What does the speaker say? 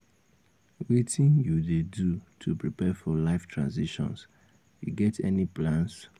wetin you dey do to prepare for um life transitions you get any plans? um